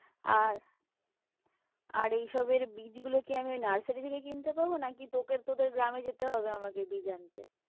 আর আর এইসবের বীজগুলো কি আমি ওই নার্সারী থেকে কিনতে পাবো? নাকি তোকে তোদের গ্রামে যেতে হবে আমাকে বীজ আনতে?